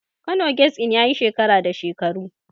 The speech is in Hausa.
Kano Guest Inn yayi shekara da shekaru yanzu.